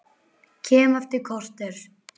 Kem eftir korter!